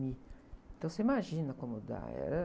Então você imagina como dá. É, ãh...